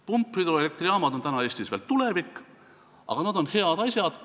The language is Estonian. Pumphüdroelektrijaamad on Eestis veel tulevik, aga nad on head asjad.